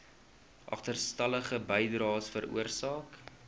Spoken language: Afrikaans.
agterstallige bydraes veroorsaak